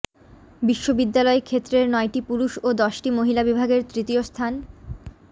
বিশ্ববিদ্যালয় ক্ষেত্রের নয়টি পুরুষ ও দশটি মহিলা বিভাগের তৃতীয় স্থান